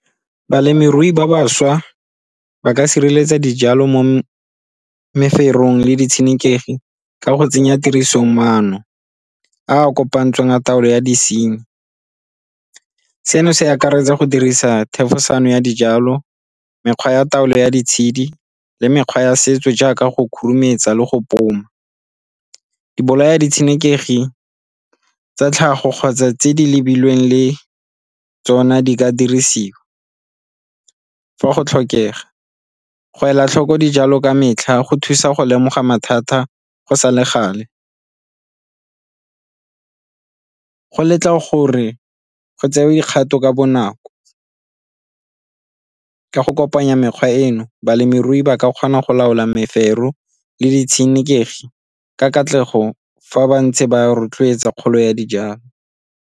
Balemirui ba bašwa ba ka sireletsa dijalo mo meferong le ditshenekegi ka go tsenya tiriso maano a a kopantsweng taolo ya disenyi. Seno se akaretsa go dirisa thefosano ya dijalo, mekgwa ya taolo ya ditshedi le mekgwa ya setso jaaka go khurumetsa le go . Dibolaya ditshenekegi tsa tlhago kgotsa tse di lebilweng le tsona di ka dirisiwa fa go tlhokega. Go ela tlhoko dijalo ka metlha go thusa go lemoga mathata go sa le gale, go letla gore go tsewe dikgato ka bonako ka go kopanya mekgwa eno balemirui ba ka kgona go laola mefero le di tshenekegi ka katlego fa ba ntse ba rotloetsa kgolo ya dijalo.